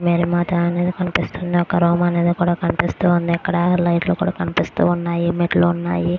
Mary మాత అనేది కనిపిస్తుంది.ఒక రూమ్ అనేది కూడా కనిపిస్తుంది. ఇక్కడ లైట్స్ కూడా కనిపిస్తున్నాయి. ఇక్కడ మెట్లు కూడ ఉన్నాయ్.